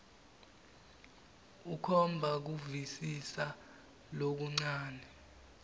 ukhomba kuvisisa lokuncane